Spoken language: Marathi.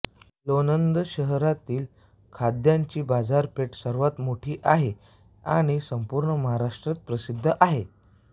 लोणंद शहरातील कांद्याची बाजारपेठ सर्वात मोठी आहे आणि संपूर्ण महाराष्ट्रात प्रसिद्ध आहे